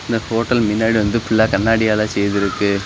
இந்த ஹோட்டல் மின்னாடி வந்து ஃபுல்லா கண்ணாடியால செய்திருக்கு.